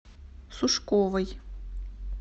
сушковой